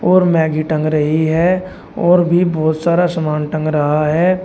और मैगी टंग रही है और भी बहोत सारा सामान टंग रहा है।